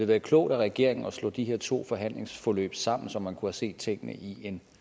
været klogt af regeringen at slå de her to forhandlingsforløb sammen så man kunne have set tingene i en